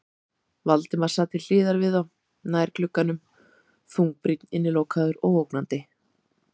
Valdimar sat til hliðar við þá, nær glugganum, þungbrýnn, innilokaður og ógnandi.